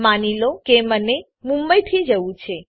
માની લો કે મને મુંબઈથી જવું છે